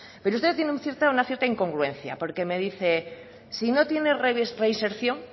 pero usted tiene una cierta incongruencia porque me dice sino tiene reinserción